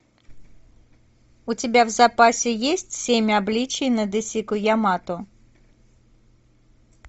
у тебя в запасе есть семь обличий надэсико ямато